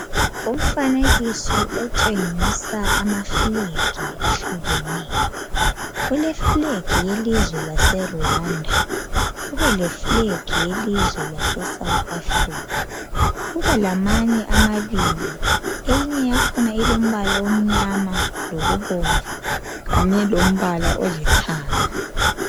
umfanekiso otshengiusa ama flag ahlukeneyo kule flag yelizwe lase Rwanda kube le flag ye lizwe lase South Africa kube lamanye amabili eyinye yakhona ilombala omnyama lobomvu kanye lombala olithanga